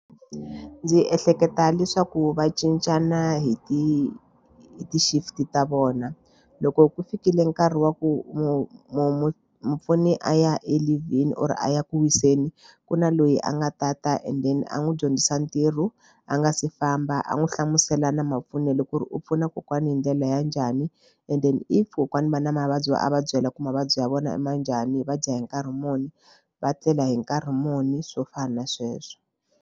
Ndzi ehleketa leswaku va cincana hi ti hi ti-shift ta vona loko ku fikile nkarhi wa ku mu mu mu mupfuni a ya eleave-ni or a ya ku wiseni ku na loyi a nga tata and then a n'wi dyondzisa ntirho a nga si famba a n'wi hlamusela na mapfunele ku ri u pfuna kokwani hi ndlela ya njhani and then if kokwani va na mavabyi va a va byela ku mavabyi ya vona ma njhani va dya hi nkarhi muni va tlela hi nkarhi muni swo fana na sweswo.